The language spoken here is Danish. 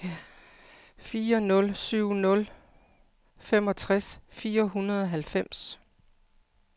fire nul syv nul femogtres fire hundrede og halvfems